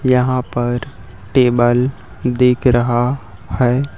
यहाँ पर टेबल दिख रहा है।